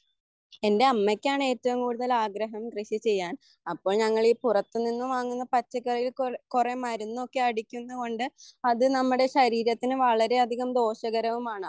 എൻ്റെ അമ്മയ്ക്കാണ് എറ്റവും കൂടുതൽ ആഗ്രഹം കൃഷി ചെയ്യാൻ അപ്പോൾ ഞങ്ങളീപ്പുറത്തുനിന്നു വാങ്ങുന്ന പച്ചക്കറികളിൽ കുറെ മരുന്നൊക്കെ അടിക്കുന്നുന്നതുകൊണ്ടു അത് നമ്മുടെ ശരീരത്തിന് വളരെ അധികം ദോഷകരവുമാണ്